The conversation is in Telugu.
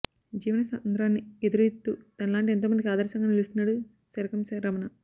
జీవన సంద్రాన్ని ఎదురీదుతూ తనలాంటి ఎంతోమందికి ఆదర్శంగా నిలుస్తున్నాడు శరకం రమణ